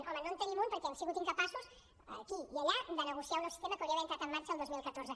home no en tenim un perquè hem sigut incapaços aquí i allà de negociar un nou sistema que hauria d’haver entrat en marxa el dos mil catorze